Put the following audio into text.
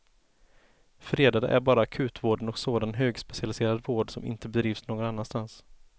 Fredade är bara akutvården och sådan högspecialiserad vård som inte bedrivs någon annanstans.